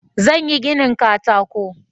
Zan yi ginin katako.